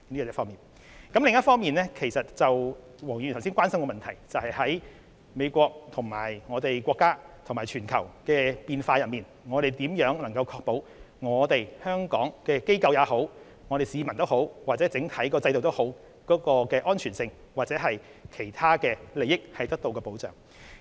另一方面，黃議員關心，當美國與我們國家及全球的關係出現變化時，政府如何確保香港的機構、市民或整體制度的安全，以及如何確保其他利益得到保障？